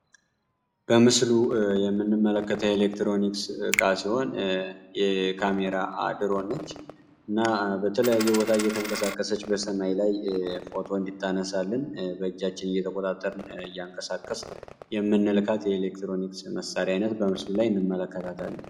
በምስሉ የምንመለከተ ኤሌክትሮኒክስ ቃ ሲሆን የካሜራ አድሮነች እና በትለየ ቦታ የተንቀሳከሰች በሰማይ ላይ ፎቶን እንዲታነሳልን በእጃችን እየተቆጣተር ያንከሳከስ የምንልካት የኤሌክትሮኒክስ መሣሪያይነት በምስሉ ላይ እንመለከታታለን፡፡